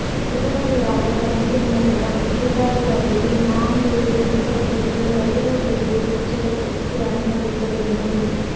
உடனடியாக தண்ணீர் நிறுத்தம் சீர்காழி அருகே நாங்கூரில் புகழ்பெற்ற கருட சேவை உற்சவத்துக்கு அனுமதிக்க வேண்டும்